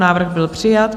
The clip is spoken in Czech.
Návrh byl přijat.